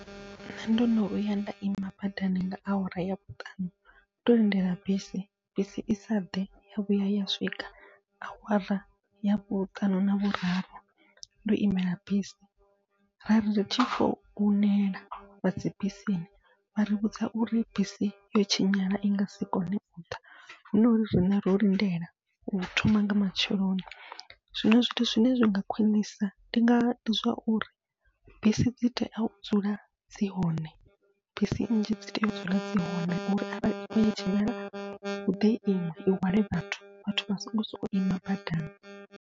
Nṋe ndono vhuya nda ima badani nga awara ya vhuṱanu ndo lindela bisi, bisi isa ḓe ya vhuya ya swika awara ya vhuṱanu na vhuraru ndo imela bisi, ra ri tshi founela vha dzi bisini vha ri vhudza uri bisi yo tshinyala i ngasi kone uḓa, hu nori riṋe ro lindela u thoma nga matsheloni. Zwino zwithu zwine zwinga khwiṋisa ndi nga ndi zwauri bisi dzi tea u dzula dzi hone, bisi nnzhi dzi tea u dzula dzi hone uri itshi tshinyala huḓe iṅwe i hwale vhathu vhathu vha songo sokou ima badani.